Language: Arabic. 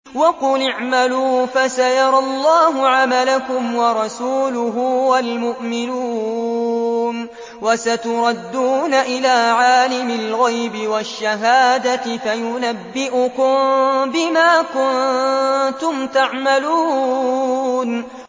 وَقُلِ اعْمَلُوا فَسَيَرَى اللَّهُ عَمَلَكُمْ وَرَسُولُهُ وَالْمُؤْمِنُونَ ۖ وَسَتُرَدُّونَ إِلَىٰ عَالِمِ الْغَيْبِ وَالشَّهَادَةِ فَيُنَبِّئُكُم بِمَا كُنتُمْ تَعْمَلُونَ